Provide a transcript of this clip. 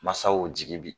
Masaw jigi bi